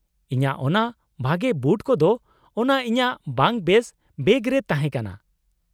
-ᱤᱧᱟᱹᱜ ᱚᱱᱟ ᱵᱷᱟᱜᱮ ᱵᱩᱴ ᱠᱚᱫᱚ ᱚᱱᱟ ᱤᱧᱟᱹᱜ ᱵᱟᱝ ᱵᱮᱥ ᱵᱮᱜᱽ ᱨᱮ ᱛᱟᱦᱮᱸ ᱠᱟᱱᱟ ᱾